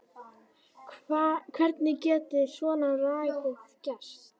Hvernig getur svona lagað gerst?